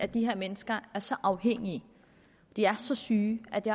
de her mennesker er så afhængige de er så syge at det